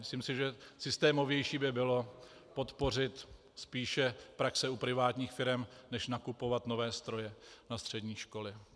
Myslím si, že systémovější by bylo podpořit spíše praxe u privátních firem než nakupovat nové stroje na střední školy.